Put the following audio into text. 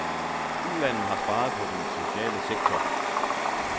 Ulandene har sparet på den sociale sektor.